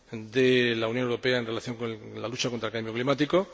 de la Unión Europea en relación con la lucha contra el cambio climático.